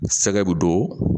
Sɛgɛ bɛ don